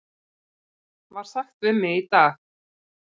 var sagt við mig í dag.